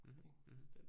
Mh mh